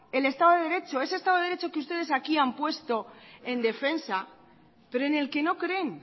el estado de derecho ese estado de derecho que ustedes aquí han puesto en defensa pero en el que no creen